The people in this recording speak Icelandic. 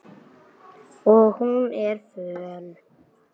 Og hún er föl.